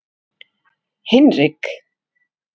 Hinrik